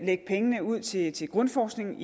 lægge pengene ud til til grundforskning